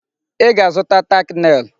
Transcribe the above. Ị ga-azụta tack nail!